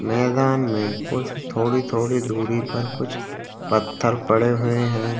मैदान में कुछ थोड़ी-थोड़ी दूरी पर कुछ पत्थर पड़े हुए हैं।